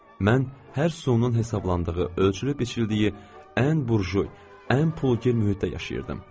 Mən hər sonun hesablandığı, ölçülüb-biçildiyi ən burjuy, ən pulgir mühitdə yaşayırdım.